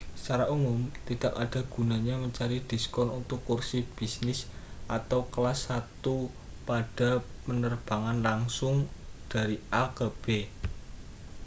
secara umum tidak ada gunanya mencari diskon untuk kursi bisnis atau kelas satu pada penerbangan langsung dari a ke b